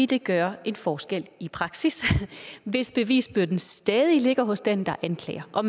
det gøre en forskel i praksis hvis bevisbyrden stadig ligger hos den der anklager og